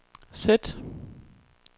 sæt